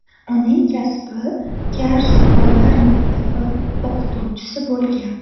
Uning kasbi kar-soqovlar maktabi o‘qituvchisi bo‘lgan.